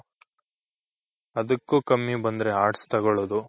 ಅದುಕ್ಕು ಕಮ್ಮಿ ಬಂದ್ರೆ Arts ತಗೊಳದು